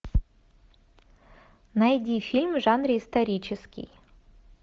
найди фильм в жанре исторический